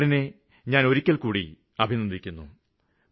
സര്ക്കാരിനെ ഞാന് ഒരിക്കല്ക്കൂടി അഭിനന്ദിക്കുന്നു